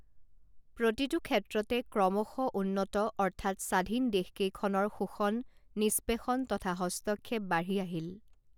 প্ৰতিটো ক্ষেত্ৰতে ক্ৰমশঃ উন্নত অৰ্থাৎ স্বাধীন দেশকেইখনৰ শোষণ নিস্পেষণ তথা হস্তক্ষেপ বাঢ়ি আহিল